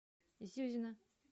зюзина